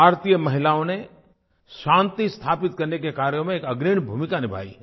भारतीय महिलाओं ने शांति स्थापित करने के कार्यों में अग्रणी भूमिका निभाई है